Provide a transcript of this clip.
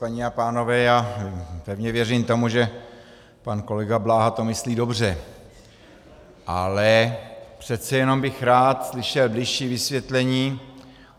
Paní a pánové, já pevně věřím tomu, že pan kolega Bláha to myslí dobře, ale přece jenom bych rád slyšel bližší vysvětlení.